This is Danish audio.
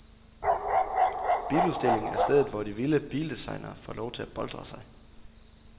Biludstillingen er stedet, hvor de vilde bildesignere får lov at boltre sig.